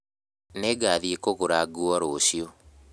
Nĩngathiĩ kũgũra nguo rũciũ